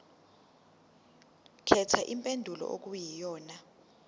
khetha impendulo okuyiyona